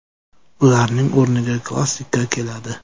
Ularning o‘rniga klassika keladi.